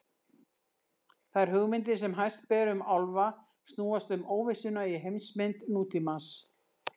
Þær hugmyndir sem hæst ber um álfa snúast um óvissuna í heimsmynd nútímans.